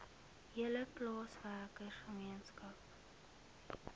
hele plaaswerker gemeenskap